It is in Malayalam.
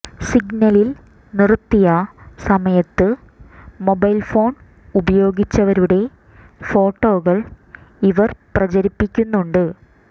സിഗ്നലിൽ നിർത്തിയ സമയത്ത് മൊബൈൽ ഫോൺ ഉപയോഗിച്ചവരുടെ ഫോട്ടോകൾ ഇവർ പ്രചരിപ്പിക്കുന്നുണ്ട്